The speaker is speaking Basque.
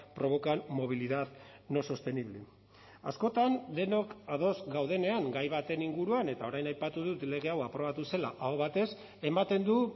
provocan movilidad no sostenible askotan denok ados gaudenean gai baten inguruan eta orain aipatu dut lege hau aprobatu zela aho batez ematen du